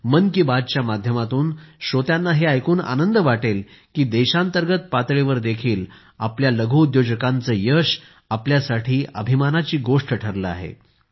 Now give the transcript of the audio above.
मन की बात च्या माध्यमातून श्रोत्यांना हे ऐकून आनंद वाटेल की देशांतर्गत पातळीवर देखील आपल्या लघुउद्योजकांचे यश आपल्यासाठी अभिमानाची गोष्ट ठरलेआहे